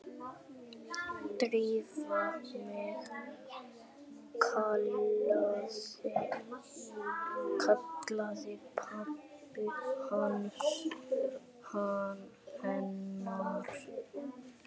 Drífa mín- kallaði pabbi hennar.